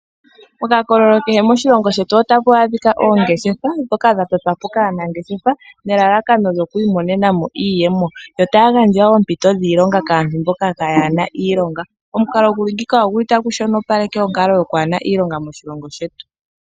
Mokakololo kehe moshilongo shetu ota mu adhika oongeshefa ,ndhoka dha totwa po kaanangeshefa nelalakano lyoku imonenamo iiyemo yo taya gandja oompito dhiilonga kaantu mboka kayena iilonga. Omukalo gu li ngeyi oguli ta gu shonopaleke onkalo yo ku hena iilonga moshilongo shetu.